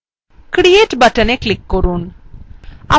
create button click করুন